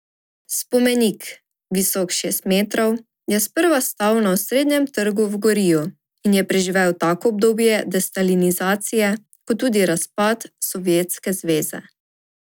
Spomenik, visok šest metrov, je sprva stal na osrednjem trgu v Goriju in je preživel tako obdobje destalinizacije kot tudi razpad Sovjetske zveze.